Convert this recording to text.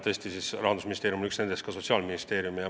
Tõesti, Rahandusministeerium on üks nendest ja teine Sotsiaalministeerium.